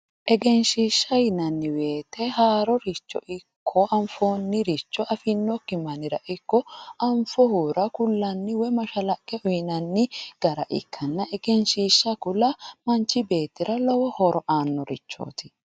Egenshishsha yinanni woyiite haaroricho ikko anfoonniricho afinokki mannira ikko anfohura kullanni woyi mashalaqe uuyiinanni gara ikkanna egenshshiisha kula manchi beettira lowo horo aannorichooti.